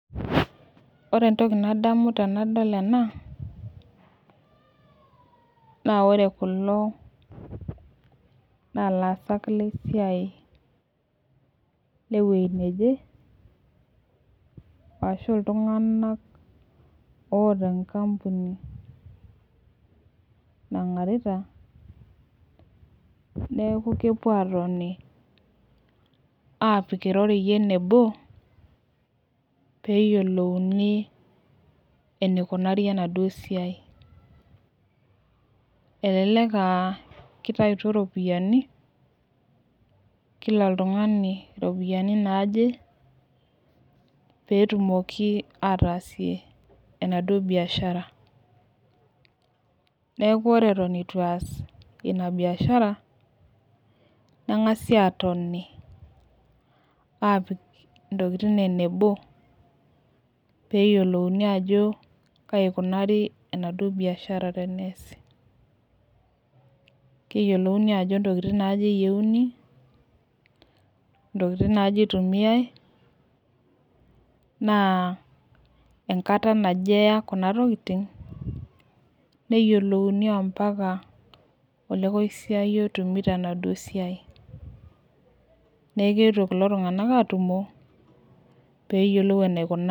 Ore entoki nadamu tenadol ena, naa ore kulo naa ilaasak lesiaie wueji neje, ashu iltunganak, oota enkampuni nagarita. neeku kepuo aatoni aapik irorei enebo pee eyiolouni eneikunari enaduo siai. elelek aa kitaituo iropiyiani. kila oltungani iropiyiani naaje pee etumoki ataasie enaduoo biashara. neeke ore eton eitu ees Ina biashara. nengasi aatoni aapik intokitin enebo. peeyiolouni ajo kai ikunari enaduoo biashara teneesi. keyiolouni jo ntokitin naaje eyieuni, ntokitin naaje itumiae. naa enkata naje eya kuna tokitin. neyiolouni ampaka, olekosiayio otumi tenaduoo siai .neeku keetuo kulo tunganak atumo pee eyiolou enaikunaa.